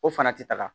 O fana ti taga